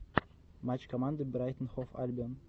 матч команды брайтон хов альбион